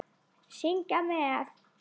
Syngja með!